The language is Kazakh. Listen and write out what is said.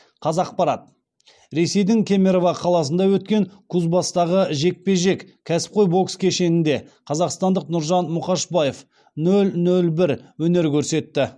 қазақпарат ресейдің кемерово қаласында өткен кузбасстағы жекпе жек кәсіпқой бокс кешенінде қазақстандық нұржан мұқашбаев нөл нөл бір өнер көрсетті